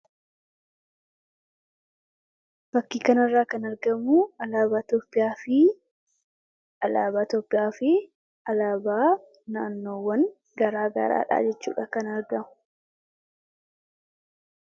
Fakkii kanarraa kan argamu alaabaa Itoophiyaa fi alaabaa naannoowwan garaagaraadha jechuudha kan argamu.